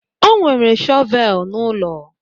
O nwere shọvel n'ụlọ.